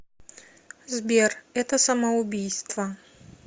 сбер это самоубийство